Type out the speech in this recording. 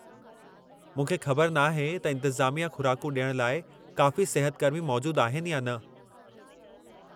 मूंखे ख़बर नाहे त इंतिज़ामिया खु़राकूं ॾियण लाइ काफ़ी सिहतकर्मी मौजूदु आहिनि या न।